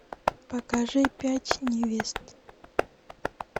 покажи пять невест